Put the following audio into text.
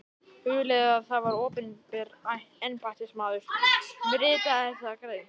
Hugleiðið að það var opinber embættismaður sem ritaði þessa grein.